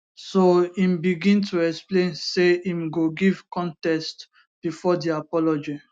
so im begin to explain say im go give context bifor di apology